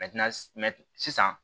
sisan